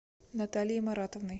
натальей маратовной